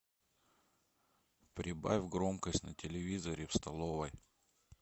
прибавь громкость на телевизоре в столовой